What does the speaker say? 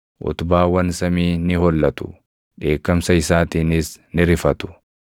Utubaawwan samii ni hollatu; dheekkamsa isaatiinis ni rifatu.